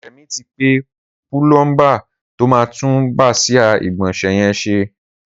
Remi ti pé púlọmbà tó mà tùn bàsiá igbọnsẹ̀ yèn ṣé